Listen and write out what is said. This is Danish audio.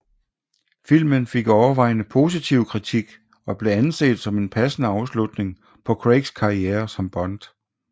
Filmen fik overvejende positiv kritik og blev anset som en passende afslutning på Craigs karriere som Bond